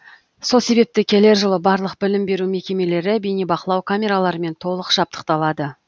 сол себептен келер жылы барлық білім беру мекемелері бейнебақылау камераларымен толық жабдықталады